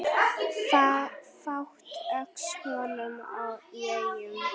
Fátt óx honum í augum.